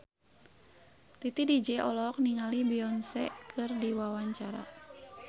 Titi DJ olohok ningali Beyonce keur diwawancara